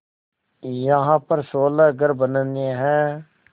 यहाँ पर सोलह घर बनने हैं